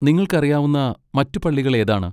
നിങ്ങൾക്ക് അറിയാവുന്ന മറ്റ് പള്ളികൾ ഏതാണ്?